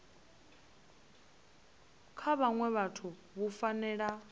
kha vhaṅwe vhathu vhu fanela